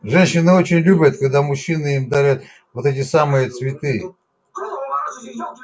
женщины очень любят когда мужчины им дарят вот эти самые цветы